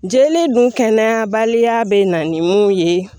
Jeli dun kɛnɛya baliya bɛ na ni mun ye